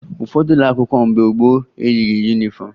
Ụfọdụ ụlọ akwụkwọ mgbe gboo eyighi yunifọmụ